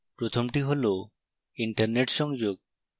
প্রথমটি হল internet সংযোগ